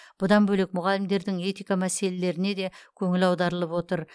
бұдан бөлек мұғалімдердің этика мәселелеріне де көңіл аударылып отыр